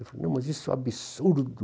Eu falei, mas isso é um absurdo.